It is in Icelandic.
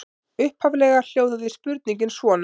Upphaflega hljóðaði spurningin svona: